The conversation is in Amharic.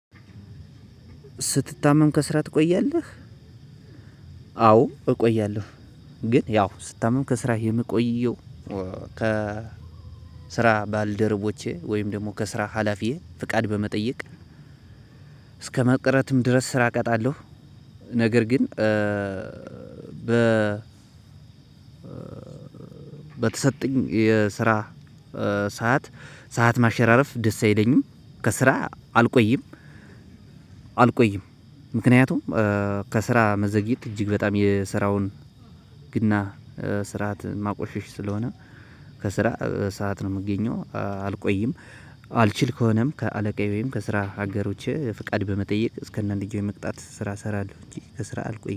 ስትታመም ከስራ ትቆያለህ? አዎ እቆያለሁ። ግን ያው ስታምም ከስራህ የምቆየው። ከ ስራ ባልደረቦቼ ወይም ደግሞ ከስራ ሀላፊዬ ፍቃድ በመጠየቅ። እስከመቅረትም ድረስ ስራ እቀጣለሁ። ነገርግን እ በ በተሰጠኝ የስራ ሰዓት ሰዓት ማሸራረፍ ደስ አይለኝም። ከስራ አልቆይም አልቆይም። ምክንያቱም ከስራ መዘግየት እጅግ በጣም የስራውን ህግና ስርዓት ማቆሸሽ ስለሆነ። ከስራ በሰአት ነው እምገኘው አልቆይም። አልችል ከሆነም ከአለቃዬ ወይም ከስራ ሀጋሮቸ ፍቃድ በመጠየቅ እስከአንድያው የመቅጣት ስራ እሰራለሁ እንጂ ከስራ አልቆይ